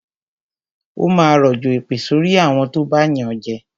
Ó máa rọ̀jọ̀ èpè sorí àwọn tó bá yànjẹ